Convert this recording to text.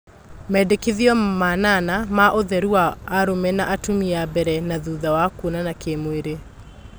Mendekithio manana ma ũtheru wa arũme na atumia mbere na thutha wa kuonana kĩmwĩri